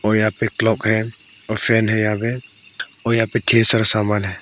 और यहां पे क्लॉक है और फैन है यहां पे और यहां पे ढ़ेर सारा सामान है।